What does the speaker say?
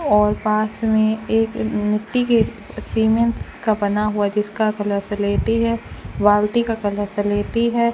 और पास में एक मिट्टी के सीमेंट का बना हुआ जिसका कलर सलेटी है बाल्टी का कलर सलेटी है।